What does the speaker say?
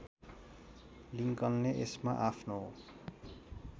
लिङ्कनले यसमा आफ्नो